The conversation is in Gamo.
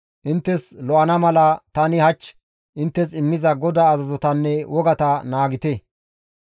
Inttes lo7ana mala tani hach inttes immiza GODAA azazotanne wogata naagite.